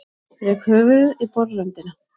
Rek höfuðið í borðröndina.